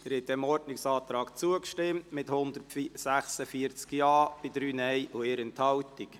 Sie haben diesem Ordnungsantrag zugestimmt mit 146 Ja- bei 3 Nein-Stimmen und 1 Enthaltung.